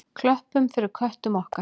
Klöppum fyrir köttum okkar!